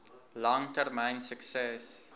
lang termyn sukses